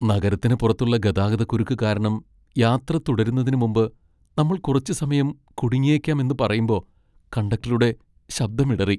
നഗരത്തിന് പുറത്തുള്ള ഗതാഗതക്കുരുക്ക് കാരണം യാത്ര തുടരുന്നതിന് മുമ്പ് നമ്മൾ കുറച്ച് സമയം കുടുങ്ങിയേക്കാം എന്ന് പറയുമ്പോ കണ്ടക്ടറുടെ ശബ്ദം ഇടറി.